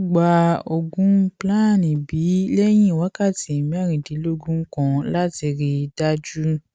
ó gba oògùn plan b lẹyìn wákàtí mẹrìndínlógún kan láti rí i dájú